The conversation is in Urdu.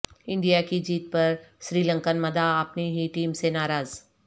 انڈیا کی جیت پر سری لنکن مداح اپنی ہی ٹیم سے ناراض